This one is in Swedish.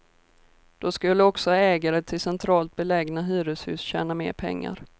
Då skulle också ägare till centralt belägna hyreshus tjäna mera pengar.